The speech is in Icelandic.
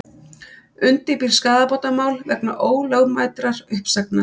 Undirbýr skaðabótamál vegna ólögmætrar uppsagnar